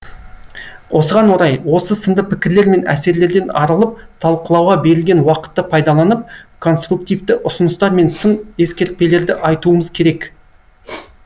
осыған орай осы сынды пікірлер мен әсерлерден арылып талқылауға берілген уақытты пайдаланып конструктивті ұсыныстар мен сын ескертпелерді айтуымыз керек